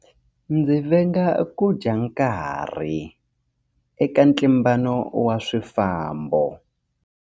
Ndzi venga ku dya nkarhi eka ntlimbano wa swifambo.